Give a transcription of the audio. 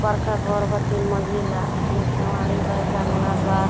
बड़का घोर बा तीन मंजिला ए में केवाड़ी बा जंगला बा।